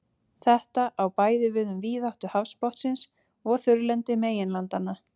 þetta á bæði við um víðáttu hafsbotnsins og þurrlendi meginlandanna